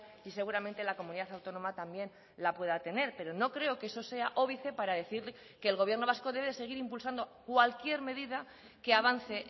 y seguramente la comunidad autónoma también la pueda tener pero no creo que eso sea óbice para decir que el gobierno vasco debe seguir impulsando cualquier medida que avance